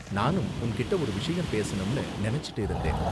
நானும் உன்கிட்ட ஒரு விஷயம் பேசணும்னு நினைச்சிட்டு இருந்தேன்.